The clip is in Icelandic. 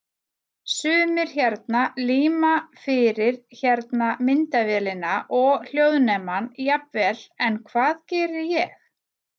Sumir hérna líma fyrir hérna myndavélina og hljóðnemann jafnvel en hvað geri ég?